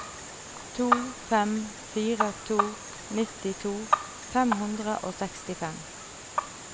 to fem fire to nittito fem hundre og sekstifem